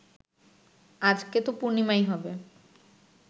আজকে তো পূর্ণিমাই হবে